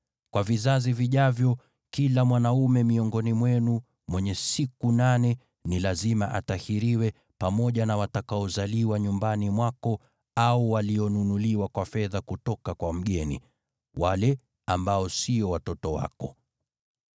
Kwa vizazi vijavyo, kila mwanaume miongoni mwenu mwenye siku nane ni lazima atahiriwe, pamoja na watakaozaliwa nyumbani mwako au walionunuliwa kwa fedha kutoka kwa mgeni, wale ambao sio watoto wako.